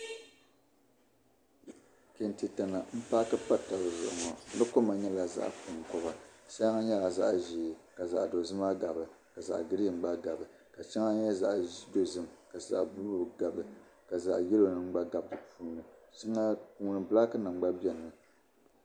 Kente tana m-paaki pa taba zuɣu ŋɔ. Di koma nyɛla zaɣ' kɔŋkoba. Shɛŋa nyɛla zaɣ' ʒee ka zaɣ' dozima gabi ka zaɣ' girin gba gabi ka shɛŋa nyɛ zaɣ' dozim ka zaɣ' buluu gabi ka zaɣ' yɛlonima gba di puuni. Bilaakinima gba gabimi.